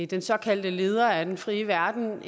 den såkaldte leder af den frie verden